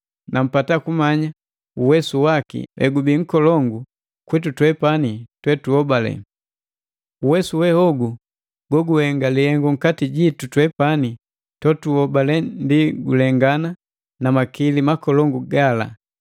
na mpata kumanya uwesu waki egubii nkolongu kwitu twepani totunhobale. Uwesu we hogu goguhenga lihengu nkati jitu twepani totuhobale ndi gulengana na makili makolongu gala,